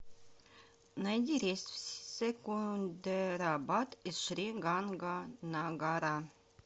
найди рейс в секундерабад из шри ганганагара